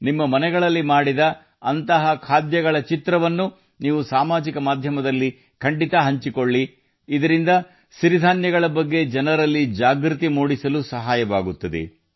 ನಿಮ್ಮ ಮನೆಗಳಲ್ಲಿ ಮಾಡಿದ ಇಂತಹ ಖಾದ್ಯಗಳ ಚಿತ್ರಗಳನ್ನು ನೀವು ಸಾಮಾಜಿಕ ಮಾಧ್ಯಮದಲ್ಲಿ ಹಂಚಿಕೊಳ್ಳಬೇಕು ಇದರಿಂದ ಸಿರಿಧಾನ್ಯಗಳ ಬಗ್ಗೆ ಜನರಲ್ಲಿ ಜಾಗೃತಿ ಮೂಡಿಸಲು ಸಹಾಯ ಮಾಡುತ್ತದೆ